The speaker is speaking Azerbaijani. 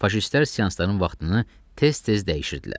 Faşistlər seansların vaxtını tez-tez dəyişirdilər.